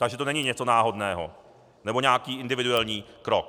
Takže to není něco náhodného nebo nějaký individuální krok.